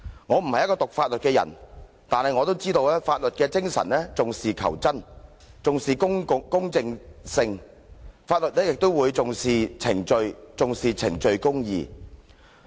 我不是修讀法律的人，但我也知道法律的精神重視求真、重視公正性，而法律也重視程序、重視程序公義。